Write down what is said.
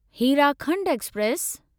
Hirakhand express